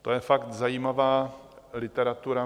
To je fakt zajímavá literatura.